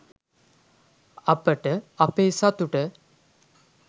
අපට අපේ සතුට